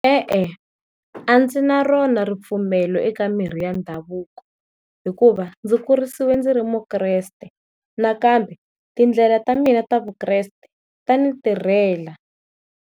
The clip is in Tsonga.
E-e a ndzi na rona ripfumelo eka mirhi ya ndhavuko, hikuva ndzi kurisiwe ndzi ri Mukreste nakambe tindlela ta mina ta Vukreste ta ni tirhela.